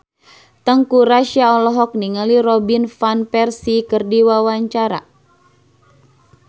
Teuku Rassya olohok ningali Robin Van Persie keur diwawancara